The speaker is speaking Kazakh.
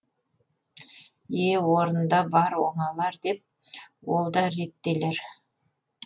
е е орнында бар оңалар деп ол да реттелер